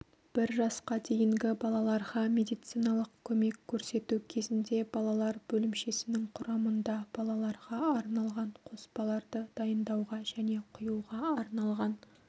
бір жасқа дейінгі балаларға медициналық көмек көрсету кезінде балалар бөлімшесінің құрамында балаларға арналған қоспаларды дайындауға және құюға арналған